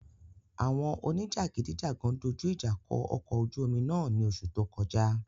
Awọn onijagidijagan doju ija kọ ọkọ ojú omi náà ni oṣu to kọja